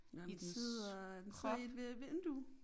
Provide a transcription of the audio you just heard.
It sidder sidder it ved et vindue?